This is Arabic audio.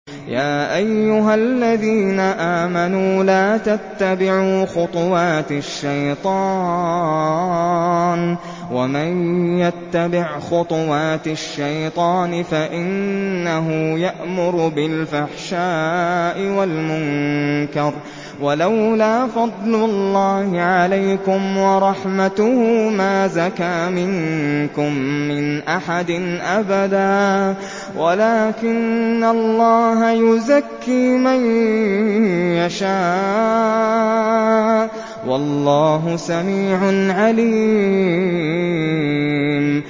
۞ يَا أَيُّهَا الَّذِينَ آمَنُوا لَا تَتَّبِعُوا خُطُوَاتِ الشَّيْطَانِ ۚ وَمَن يَتَّبِعْ خُطُوَاتِ الشَّيْطَانِ فَإِنَّهُ يَأْمُرُ بِالْفَحْشَاءِ وَالْمُنكَرِ ۚ وَلَوْلَا فَضْلُ اللَّهِ عَلَيْكُمْ وَرَحْمَتُهُ مَا زَكَىٰ مِنكُم مِّنْ أَحَدٍ أَبَدًا وَلَٰكِنَّ اللَّهَ يُزَكِّي مَن يَشَاءُ ۗ وَاللَّهُ سَمِيعٌ عَلِيمٌ